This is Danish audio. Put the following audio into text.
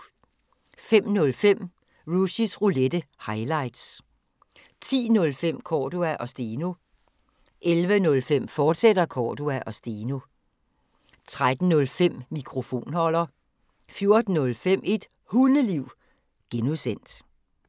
05:05: Rushys Roulette – highlights 10:05: Cordua & Steno 11:05: Cordua & Steno, fortsat 13:05: Mikrofonholder 14:05: Et Hundeliv (G)